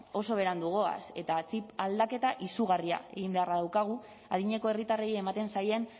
oso berandu goaz eta txip aldaketa izugarria egin beharra daukagu adineko herritarrei ematen zaien